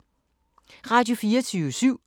Radio24syv